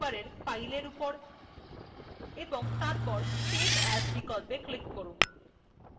সুতরাং মেনুবারের file বিকল্পর উপর এবং তারপর save as বিকল্পে click করুন